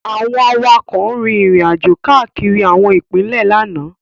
Àwọn awakọ̀ rin ìrìnàjò káàkiri àwọn ipinle lánàá.